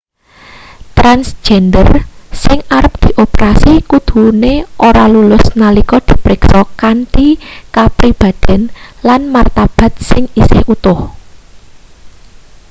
transjender sing arep dioperasi kudune ora lulus nalika di priksa kanthi kapribadhen lan martabat sing isih utuh